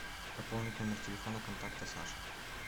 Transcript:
пополнить номер телефона контакта саша